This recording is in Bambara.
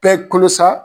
Bɛɛ kolo sa